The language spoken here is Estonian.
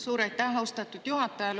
Suur aitäh, austatud juhataja!